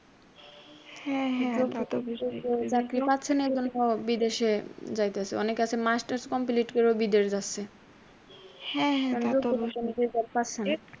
হ্যাঁ হ্যাঁ তা তো পারছেনা তা বিদেশে যাইতেছে। অনেকে আছে মাস্টার্স complete কইরা বিদেশ যাচ্ছে।